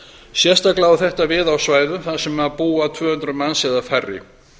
sérstaklega á þetta við á svæðum þar sem búa tvö hundruð manns eða færri